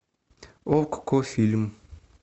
окко фильм